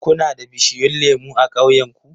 Kuna da bishiyun lemu a ƙauyenku?